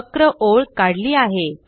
वक्र ओळ काढली आहे